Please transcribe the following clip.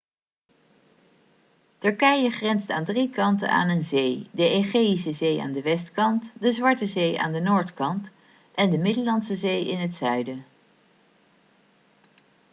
turkije grenst aan drie kanten aan een zee de egeïsche zee aan de westkant de zwarte zee aan de noordkant en de middellandse zee in het zuiden